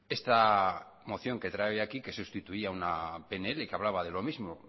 esta moción que trae hoy aquí que sustituía una pnl que hablaba de lo mismo